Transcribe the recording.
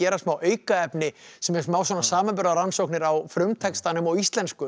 smá aukaefni sem eru smá samanburðarrannsóknir á frumtextanum og íslensku